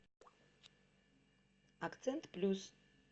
акцент плюс